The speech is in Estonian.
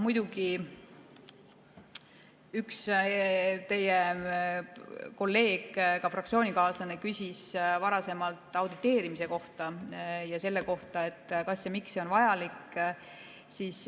Üks teie kolleeg, ka fraktsioonikaaslane, küsis varasemalt auditeerimise kohta ja selle kohta, kas ja miks see on vajalik.